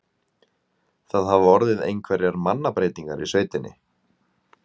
Það hafa orðið einhverjar mannabreytingar á sveitinni?